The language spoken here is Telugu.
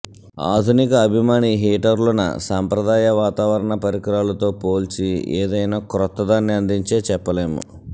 ఆధునిక అభిమాని హీటర్లు న సంప్రదాయ వాతావరణ పరికరాలు తో పోల్చి ఏదైనా క్రొత్తదాన్ని అందించే చెప్పలేము